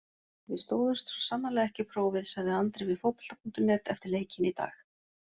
Við stóðumst svo sannarlega ekki prófið, sagði Andri við Fótbolta.net eftir leikinn í dag.